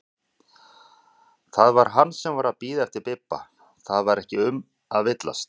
Það var hann sem var að bíða eftir Bibba, það var ekki um að villast!